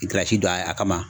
I giriyazi don a kama